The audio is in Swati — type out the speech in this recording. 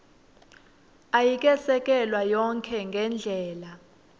ayikesekelwa yonkhe ngendlela